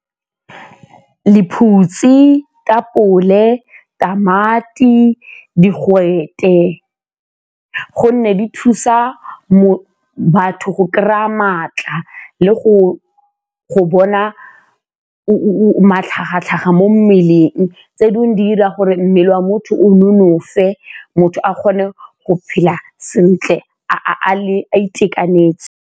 Lephutsi, tamati, digwete gonne di thusa mobu batho go kry-a maatla le go bona o le matlhagatlhaga mo mmeleng, tse dingwe di 'ira gore mmele wa motho o nonofe, motho a kgone go phela sentle a itekanetse.